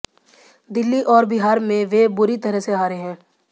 दिल्ली और बिहार में वे बुरी तरह से हारे हैं